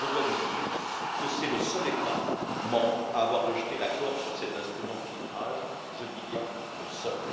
Je dois en effet vous dire qu'elle est le seul État membre à avoir rejeté l'accord sur cet instrument de filtrage, je dis bien le seul.